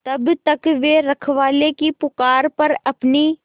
तब तक वे रखवाले की पुकार पर अपनी